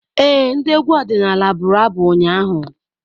Ee, ndị egwu ọdịnala buru abụ ụnyaahụ.